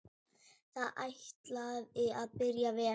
Þetta ætlaði að byrja vel!